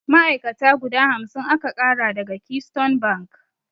Ma'ai'kata guda hamsin aka ƙara daga Keystone bank.